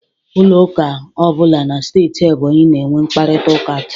Ụlọ ụka ọ bụla na steeti Ebonyi na-enwe mkparịtaụka taa.